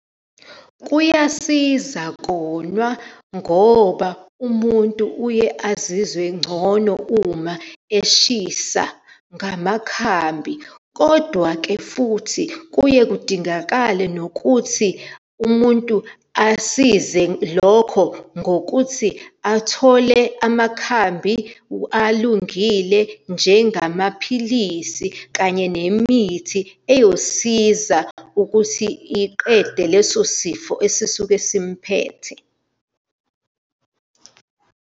Kuyasiza konwa, ngoba umuntu uye azizwe engcono uma eshisa ngamakhambi. Kodwa-ke futhi kuye kudingakale nokuthi umuntu asize lokho ngokuthi athole amakhambi alungile, njengamaphilisi kanye nemithi eyosiza ukuthi iqede leso sifo esisuke simphethe.